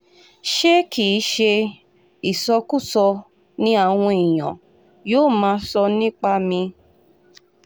ṣé kì í ṣe ìsọkúsọ ni àwọn èèyàn yóò máa sọ nípa mi